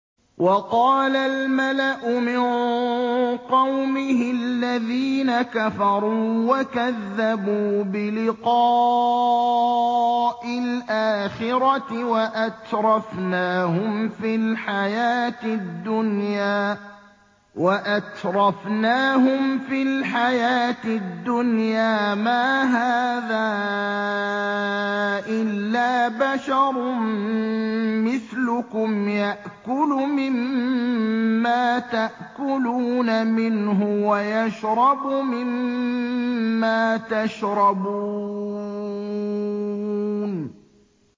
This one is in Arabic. وَقَالَ الْمَلَأُ مِن قَوْمِهِ الَّذِينَ كَفَرُوا وَكَذَّبُوا بِلِقَاءِ الْآخِرَةِ وَأَتْرَفْنَاهُمْ فِي الْحَيَاةِ الدُّنْيَا مَا هَٰذَا إِلَّا بَشَرٌ مِّثْلُكُمْ يَأْكُلُ مِمَّا تَأْكُلُونَ مِنْهُ وَيَشْرَبُ مِمَّا تَشْرَبُونَ